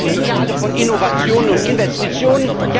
Wir reden alle von Innovation und Investition.